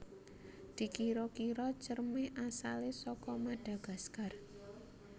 Dikira kira Cerme asale saka Madagaskar